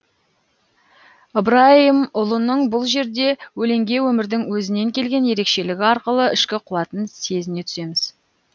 ыбырайымұлының бұл жерде өлеңге өмірдің өзінен келген ерекшелігі арқылы ішкі қуатын сезіне түсеміз